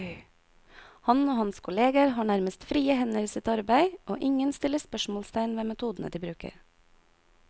Han og hans kolleger har nærmest frie hender i sitt arbeid, og ingen stiller spørsmålstegn ved metodene de bruker.